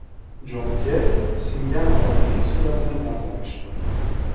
Jon Kerri singan oyog‘ining suratini namoyish qildi.